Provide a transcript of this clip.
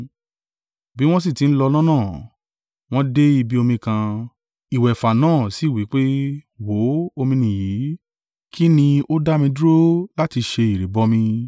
Bí wọ́n sì tí ń lọ lọ́nà, wọ́n dé ibi omi kan; ìwẹ̀fà náà sì wí pé, “Wò ó, omi nìyí. Kín ni ó dá mi dúró láti se ìrìbọmi?”